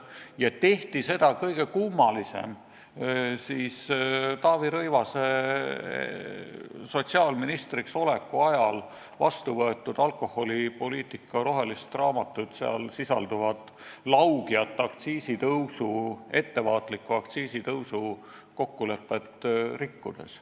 Seda tehti – see on kõige kummalisem – Taavi Rõivase sotsiaalministriks oleku ajal vastu võetud alkoholipoliitika rohelist raamatut ja seal sisalduvat laugja, ettevaatliku aktsiisitõusu kokkulepet rikkudes.